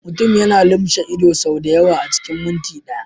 Mutum yana lumshe ido sau da yawa a cikin minti ɗaya.